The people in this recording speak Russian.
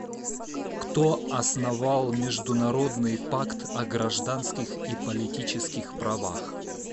кто основал международный пакт о гражданских и политических правах